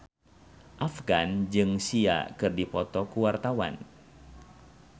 Afgan jeung Sia keur dipoto ku wartawan